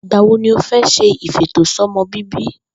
Ìgbà wo ni o fé̩ s̩e ìfètòsó̩mo̩bíbí